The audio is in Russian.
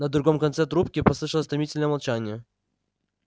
на другом конце трубки послышалось томительное молчание